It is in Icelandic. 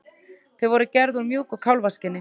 Þau voru gerð úr mjúku kálfskinni.